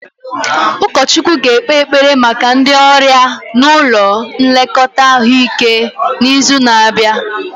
Ụkọchukwu ga-ekpe ekpere maka ndị ọrịa nọ n'ụlọ nlekọta ahụike n'izu na-abịa